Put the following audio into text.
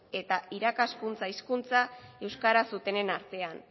eta irakaskuntza hizkuntza euskaraz zutenen artean